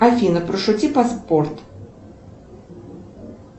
афина пошути про спорт